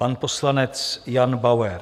Pan poslanec Jan Bauer.